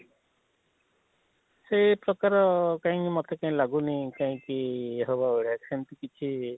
ସେ ପ୍ରକାର କାହିଁକି ମତେ କାହିଁ ଲାଗୁନି କାହିଁକି ହବ ବଳିଆ ସେମିତି କିଛି?